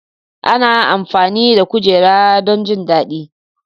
Ana amfani da kujera don jin daɗi.